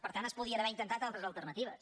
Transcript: per tant es podrien haver intentat altres alternatives